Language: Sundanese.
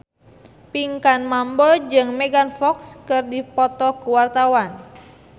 Pinkan Mambo jeung Megan Fox keur dipoto ku wartawan